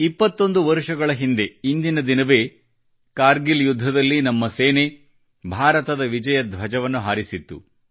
21 ವರುಷಗಳ ಹಿಂದೆ ಇಂದಿನ ದಿನವೇ ಕಾರ್ಗಿಲ್ ಯುದ್ಧದಲ್ಲಿ ನಮ್ಮ ಸೇನೆ ಭಾರತದ ವಿಜಯ ಧ್ವಜವನ್ನು ಹಾರಿಸಿತ್ತು